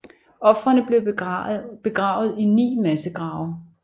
Ofrene blev begravet i ni massegrave